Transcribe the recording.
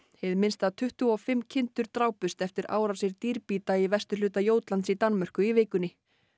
hið minnsta tuttugu og fimm kindur drápust eftir árásir dýrbíta í vesturhluta Jótlands í Danmörku í vikunni